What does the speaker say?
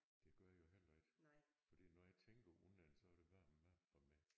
Det gør jeg heller ikke fordi når jeg tænker unden så er det varm mad for mig